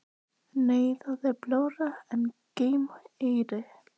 Nei það er blárra en gleymmérei.